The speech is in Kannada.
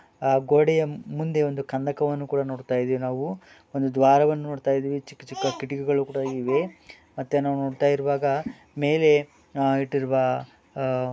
ಆ ಗೋಡೆಯ ಮುಂದೆ ಒಂದು ಕಂದಕವನ್ನು ಕೂಡ ನೋಡ್ತಯ್ದಿವ್ ನಾವು ಒಂದು ದ್ವಾರವನ್ನು ನೋಡ್ತಯ್ದಿವಿ ಚಿಕ್ಕ ಚಿಕ್ಕ ಕಿಟ್ಗಿಗಳು ಕೂಡ ಇವೆ ಮತ್ತೆ ನಾವ್ ನೋಡ್ತಾ ಇರುವಾಗ ಮೇಲೆ ಅಹ್ ಇಟ್ಟಿರುವ ಅಹ್ --